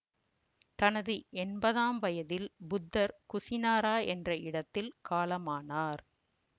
தனது எம்பதாம் வயதில் புத்தர் குசினாரா என்ற இடத்தில் காலமானார்